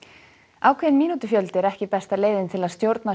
ákveðinn mínútufjöldi er ekki besta leiðin til að stjórna